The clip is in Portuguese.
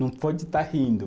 Não pode estar rindo.